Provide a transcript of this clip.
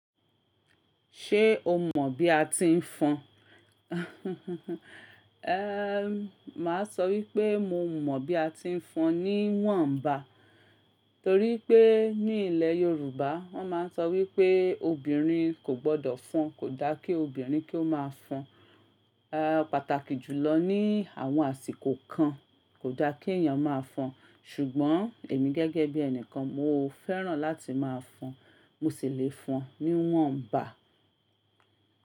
Ṣé o mọ̀ bí a ti ń fọn? Ehn, màá sọ wípé mo mọ̀ bí a ti ń fọn ní wọ́n ń bá. Torí pé ní ilẹ̀ Yorùbá wọ́n máa ń sọ wípé obìnrin kò gbọdọ̀ fọn, kò da kí obìnrin kí ó máa fọn. Ehn, pàtàkì jùlọ ní àwọn àsìkò kan kò da kí èèyàn máa fọn. Ṣùgbọ́n èmi gẹ́gẹ́ bí ẹni kan mo fẹ́ràn láti máa fọn. Mo sì le fọn ní wọ́n ń bá.